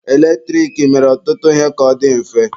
Eletrik mere ọtụtụ ihe ka ọ dị mfe.